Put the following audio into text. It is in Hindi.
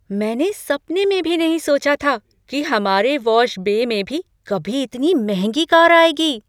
मैंने सपने में भी नहीं सोचा था कि हमारे वॉश बे में भी कभी इतनी महंगी कार आएगी।